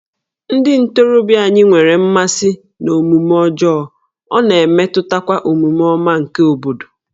Ndị ntorobịa anyị nwere mmasị n'omume ọjọọ, ọ na-emetụtakwa omume ọma nke obodo